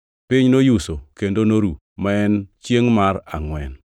Piny noyuso kendo noru, ma en chiengʼ mar angʼwen.